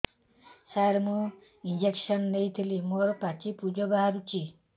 ସାର ମୁଁ ଇଂଜେକସନ ନେଇଥିଲି ମୋରୋ ପାଚି ପୂଜ ବାହାରୁଚି